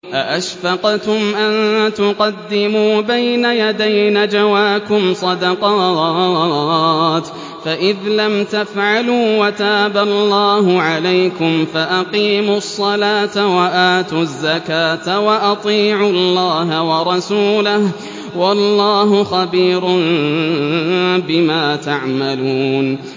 أَأَشْفَقْتُمْ أَن تُقَدِّمُوا بَيْنَ يَدَيْ نَجْوَاكُمْ صَدَقَاتٍ ۚ فَإِذْ لَمْ تَفْعَلُوا وَتَابَ اللَّهُ عَلَيْكُمْ فَأَقِيمُوا الصَّلَاةَ وَآتُوا الزَّكَاةَ وَأَطِيعُوا اللَّهَ وَرَسُولَهُ ۚ وَاللَّهُ خَبِيرٌ بِمَا تَعْمَلُونَ